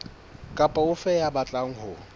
kapa ofe ya batlang ho